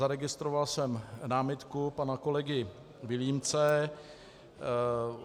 Zaregistroval jsem námitku pana kolegy Vilímce.